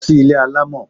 Lọ sí ilé alamọ!